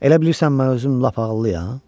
Elə bilirsən mən özüm lap ağıllıyam?